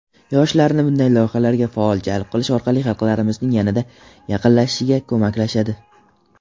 yoshlarni bunday loyihalarga faol jalb qilish orqali xalqlarimizning yanada yaqinlashishiga ko‘maklashadi.